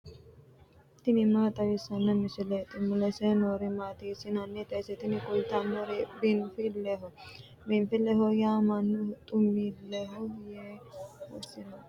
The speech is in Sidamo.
tini maa xawissanno misileeti ? mulese noori maati ? hiissinannite ise ? tini kultannori biinfilleho. biinfilleho yaa mannu xumilleho yee assirannoreeti.